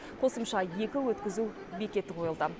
қосымша екі өткізу бекеті қойылды